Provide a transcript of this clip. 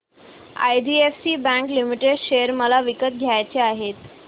IDFC bank limited share मला विकत घ्यायचे आहेत